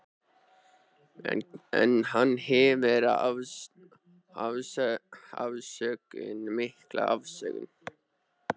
En hann hefur afsökun, mikla afsökun.